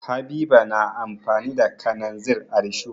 Habiba na amfani da kananzir a risho.